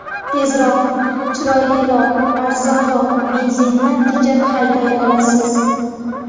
Tezroq, chiroyliroq, arzonroq, benzinni tejab hayday olasiz.